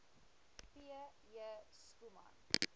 p j schoeman